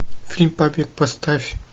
фильм папик поставь